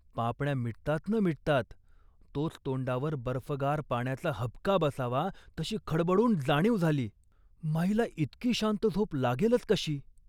पापण्या मिटतात न मिटतात तोच तोंडावर बर्फगार पाण्याचा हबका बसावा तशी खडबडून जाणीव झाली. माईला इतकी शांत झोप लागेलच कशी